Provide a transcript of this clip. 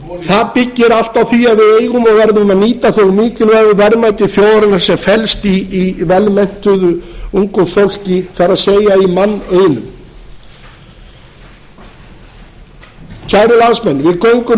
það byggir allt á því að við eigum og verðum að nýta þau mikilvægu verðmæti þjóðarinnar sem felast í vel menntuðu ungu fólki það er í mannauðnum kæru landsmenn við göngum nú í